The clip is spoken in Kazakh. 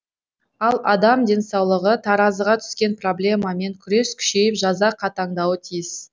ал адам денсаулығы таразыға түскен проблемамен күрес күшейіп жаза қатаңдауы тиіс